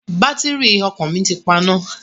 Bátìrì ọkọ̀ mi ti paná.